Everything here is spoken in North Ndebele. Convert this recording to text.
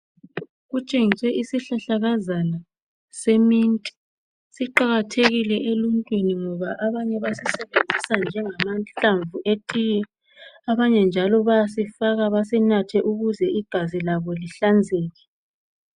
Kutshengiswe isihlahlakazana se mint siqakathekile emuntwini ngoba abanye basisebenzisa njengamahlamvu etiye abanye njalo bayasifaka basinathe ukuze igazi labo lihlanzeke.